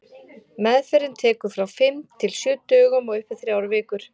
Meðferðin tekur frá fimm til sjö dögum og upp í þrjár vikur.